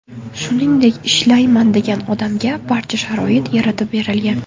Shuningdek, ishlayman degan odamga barcha sharoit yaratib berilgan.